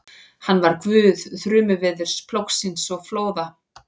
Hann var guð þrumuveðurs, plógsins og flóða.